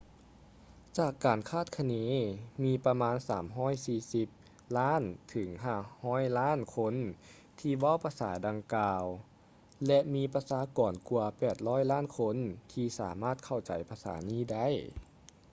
ຈາກການຄາດຄະເນ ມີປະມານ 340 ລ້ານ ເຖິງ 500 ລ້ານຄົນທີ່ເວົ້າພາສາດັ່ງກ່າວ ແລະ ມີປະຊາກອນກວ່າ 800 ລ້ານຄົນທີ່ສາມາດເຂົ້າໃຈພາສານີ້ໄດ້